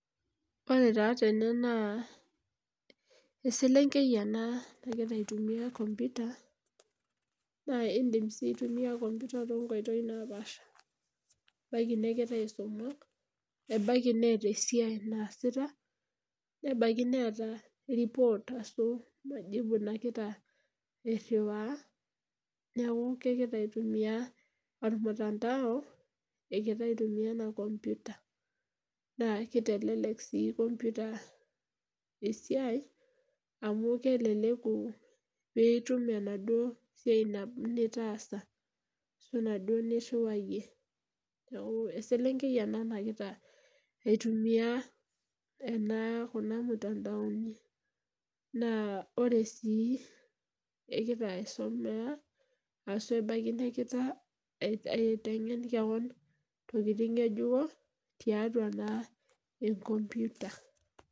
Ore taa tene naa eselengei ena nagira aitumia computer naa indim sii aitumia computer too nkoitoi napaash ebaiki negira aisuma ebaiki neeta esiai naasita nebaiki neeta report naaji nagira ariwaa niaku kegira aitumia ormutandao egira aitumia ena computer. Naa keitelelek sii computer mbaa esiai amu keleleku pee itum enaduo siai nabo nitaasa ashu enaduo niriwayie niaku eselengei ena nagira aitumia ena kuna mtandaoni naa ore si egirra aisomea nebaiki negira aitengen kewon ntokikitin ngejuko tiatua naa encomputer